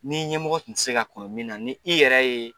Ni ɲɛmɔgɔ tun tɛ se ka kɔnɔ min na ni i yɛrɛ ye